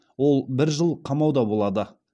ол бір жыл қамауда болады